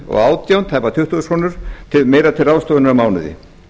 og átján krónu tæpar tuttugu þúsund krónum meira til ráðstöfunar á mánuði